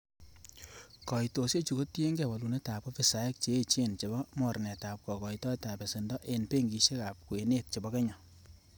Koitosiechu kotienge wolunetab ofisaek che echen chebo mornetab kokoitoetab besendo en benkisiek ab kwenet chebo kenya.